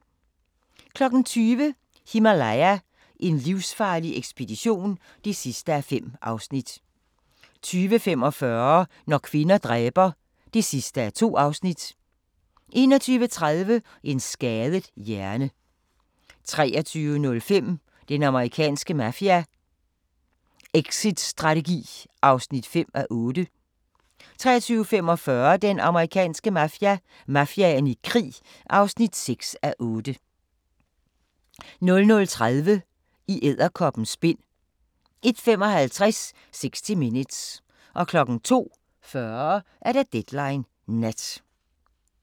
20:00: Himalaya: en livsfarlig ekspedition (5:5) 20:45: Når kvinder dræber (2:2) 21:30: En skadet hjerne 23:05: Den amerikanske mafia: Exitstrategi (5:8) 23:45: Den amerikanske mafia: Mafiaen i krig (6:8) 00:30: I edderkoppens spind 01:55: 60 Minutes 02:40: Deadline Nat